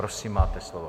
Prosím, máte slovo.